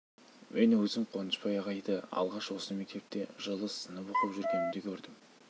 мен өзім қуанышбай ағайды алғаш осы мектепте жылы сынып оқып жүргенімде көрдім